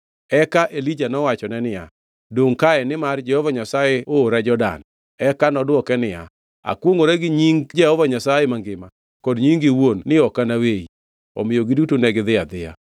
Eka Elija nowachone niya, “Dongʼ kae; nimar Jehova Nyasaye oora Jordan.” Eka nodwoke niya, “Akwongʼora gi nying Jehova Nyasaye mangima kod nyingi iwuon ni ok anaweyi.” Omiyo giduto negidhi adhiya.